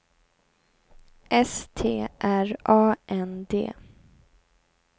S T R A N D